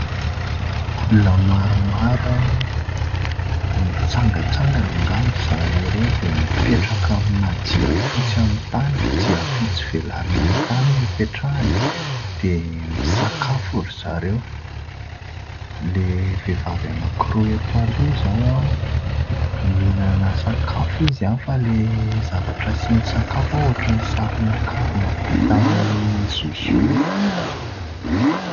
Olona maromaro, mitsangatsangana angamba zareo ireo, dia mipetraka amina jiafotsy amin'ny tany. Jiafotsy velarina amin'ny tany no ipetrahany dia misakafo ry zareo. Ilay vehivavy anankiroa ato aloha zao mihinana sakafo izy fa ilay zavatra asiany sakafo ohatran'ny saron-karona vita amin'ny zozoro.